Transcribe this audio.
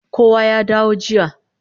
Kowa ya dawo aji